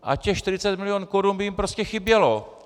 A těch 40 milionů korun by jim prostě chybělo!